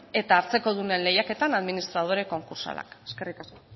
eta hartzekodunen lehiaketan administradore konkurtsalak eskerrik asko